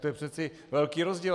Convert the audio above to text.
To je přece velký rozdíl.